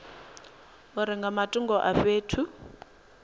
uri nga matungo a fhethu